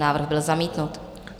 Návrh byl zamítnut.